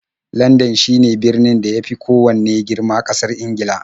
Landan shine birnin da ya fi kowanne girma ƙasar Ingila.